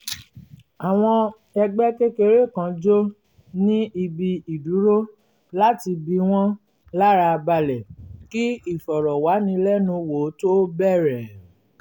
àwọn ẹgbẹ́ kékeré kan jó ní ibi ìdúró láti bí wọ́n lára balẹ̀ kí ìfọ̀rọ̀wánilẹ́nuwò tó bẹ̀rẹ̀